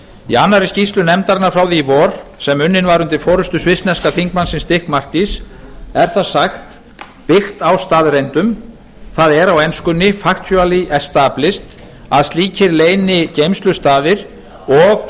í annarri skýrslu nefndarinnar frá því í vor sem unnin var undir forustu svissneska þingmannsins dick martys er þar sagt byggt á staðreyndum það er á enskunni factionally extablish að slíkir leynigeymslustaðir og